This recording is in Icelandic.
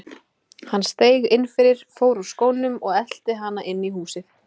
Hann steig inn fyrir, fór úr skónum og elti hana inn í húsið.